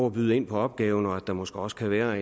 at byde ind på opgaven og at det måske også kan være